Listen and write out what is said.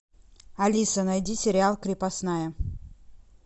алиса найди сериал крепостная